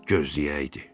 Gözləyəydi.